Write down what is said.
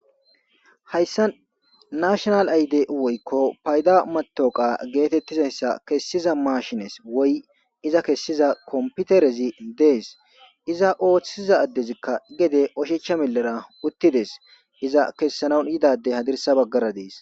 hayssa nashonal ayde woykko payda matoqa geetettizayssa kessiza maashines woy iza kessiza komputerezi dees iza ooththiza addezikka gede oshecha millera uttides iza kessanan yidade hadirsa baggara dees